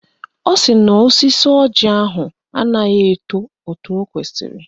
Ọ sị na osisi ọjị ahụ anaghị eto etu o kwesiri